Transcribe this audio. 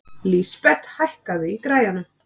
Lísabet, hækkaðu í græjunum.